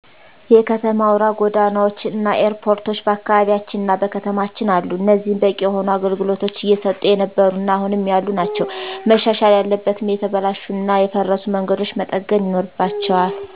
የከተማ አውራ ጎዳናዎች እና ኤርፖርቶች በአካባቢያችንና በከተማችን አሉ። እኒህም በቂ የሆነ አገልግሎቶች እየሰጡ የነበሩ እና አሁንም ያሉ ናቸው። መሻሻል ያለበትም የተበላሹ እና የፈረሱ መንገዶች መጠገን ይኖርባቸዋል።